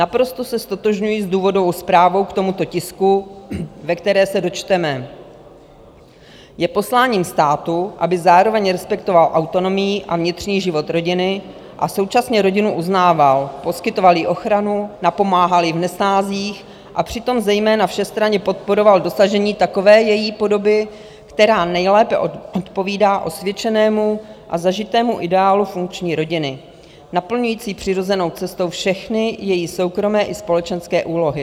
Naprosto se ztotožňuji s důvodovou zprávou k tomuto tisku, ve které se dočteme: "Je posláním státu, aby zároveň respektoval autonomii a vnitřní život rodiny a současně rodinu uznával, poskytoval jí ochranu, napomáhal jí v nesnázích a přitom zejména všestranně podporoval dosažení takové její podoby, která nejlépe odpovídá osvědčenému a zažitému ideálu funkční rodiny naplňující přirozenou cestou všechny její soukromé i společenské úlohy.